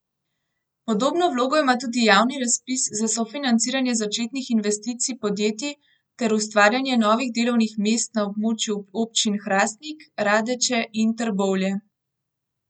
Podobno vlogo ima tudi javni razpis za sofinanciranje začetnih investicij podjetij ter ustvarjanje novih delovnih mest na območju občin Hrastnik, Radeče in Trbovlje.